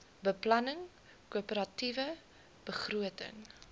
beplanning koöperatiewe begroting